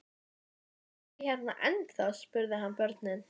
Eruð þið hérna ennþá? spurði hann börnin.